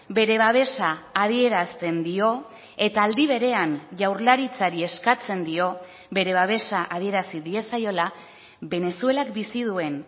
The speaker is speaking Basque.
bere babesa adierazten dio eta aldi berean jaurlaritzari eskatzen dio bere babesa adierazi diezaiola venezuelak bizi duen